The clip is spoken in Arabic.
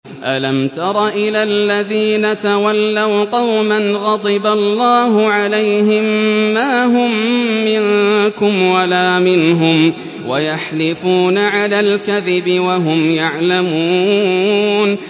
۞ أَلَمْ تَرَ إِلَى الَّذِينَ تَوَلَّوْا قَوْمًا غَضِبَ اللَّهُ عَلَيْهِم مَّا هُم مِّنكُمْ وَلَا مِنْهُمْ وَيَحْلِفُونَ عَلَى الْكَذِبِ وَهُمْ يَعْلَمُونَ